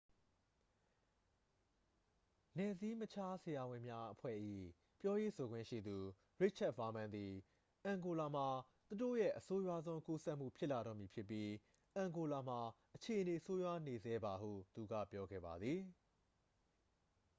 "နယ်စည်းမခြားဆရာဝန်များအဖွဲ့၏ ပြောရေးဆိုခွင့်ရှိသူ ရစ်ချက်ဗားမန်းသည် "အန်ဂိုလာမှာ သူတို့ရဲ့ အဆိုးရွားဆုံး ကူးစက်မှု ဖြစ်လာတော့မည်ဖြစ်ပြီး အန်ဂိုလာမှာ အခြေအနေ ဆိုးရွားနေဆဲပါ" ဟု သူက ပြောခဲ့ပါသည်။